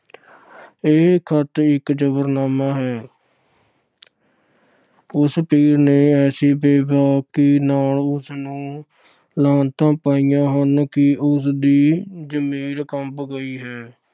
ਇਹ ਖਤ ਇੱਕ ਜ਼ਫ਼ਰਨਾਮਾ ਹੈ। ਆਹ ਉਸ ਪੀਰ ਨੇ ਐਸੀ ਬੇਬਾਕੀ ਨਾਲ ਉਸ ਨੂੰ ਲਾਹਨਤਾਂ ਪਾਈਆਂ ਨੇ ਕਿ ਉਸਦਾ ਜ਼ਮੀਰ ਕੰਬ ਗਿਆ ਹੈ।